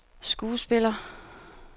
skuespiller